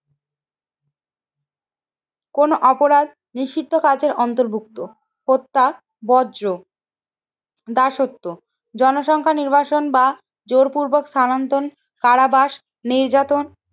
কোন অপরাধ নিষিদ্ধ কাজের অন্তর্ভুক্ত হত্যা বজ্র দাসত্ব জনসংখ্যা নির্বাচন বা জোরপূর্বক স্থানান্তর কারাবাস নির্যাতন